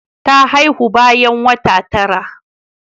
Ta haihu bayan wata tara.